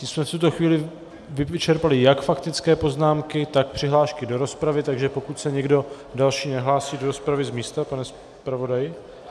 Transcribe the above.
Tím jsme v tuto chvíli vyčerpali jak faktické poznámky, tak přihlášky do rozpravy, takže pokud se někdo další nehlásí do rozpravy z místa, pane zpravodaji?